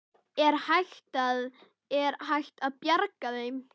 Er hægt að, er hægt að bjarga þeim?